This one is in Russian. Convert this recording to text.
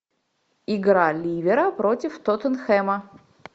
игра ливера против тоттенхэма